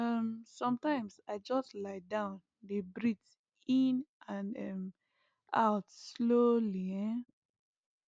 um sometimes i just lie down dey breathe in and um out slowly um